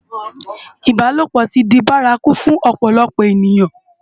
Ibálópò ti di bàrákú fún òpòlòpò ëniyán